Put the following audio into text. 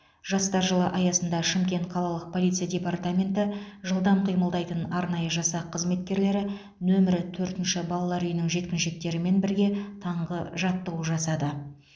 жастар жылы аясында шымкент қалалық полиция департаменті жылдам қимылдайтын арнайы жасақ қызметкерлері нөмірі төртінші балалар үйінің жеткіншектерімен бірге таңғы жаттығу жасады